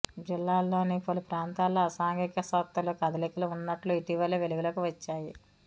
జిల్లాలోని పలు ప్రాంతాల్లో అసాంఘిక శక్తలు కదలికలు ఉన్నట్లు ఇటీవలే వెలుగులోకి వచ్చాయి